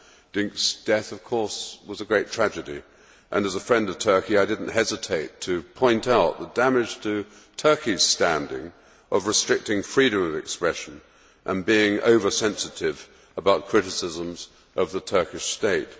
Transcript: Dink's death was, of course, a great tragedy, and as a friend of Turkey, I did not hesitate to point out the damage to Turkey's standing of restricting freedom of expression and being oversensitive about criticisms of the Turkish State.